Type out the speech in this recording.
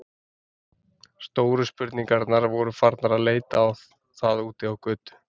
Stóru spurningarnar voru farnar að leita á það úti á götu.